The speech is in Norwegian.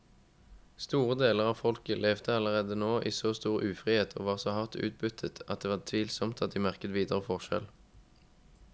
Store deler av folket levde allerede i så stor ufrihet og var så hardt utbyttet at det er tvilsomt at de merket videre forskjell.